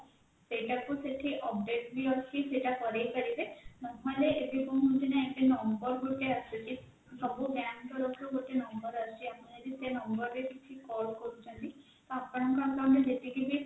ସେଇଟାକୁ ସେଠି update ବି ଅଛି ସେଇଟା କରେଇପାରିବେ ନହେଲେ ଏବେ କଣ ହଉଛିନା ଏବେ number ଗୋଟେ ଆସୁଛି ସବୁ bank ତରଫରୁ ଗୋଟେ number ଆସୁଛି ଆପଣ ଯଦି ସେଇ number ରେ କିଛି call କରୁଛନ୍ତି ତ ଆପଣଙ୍କ account ରେ ଯେତିକି ବି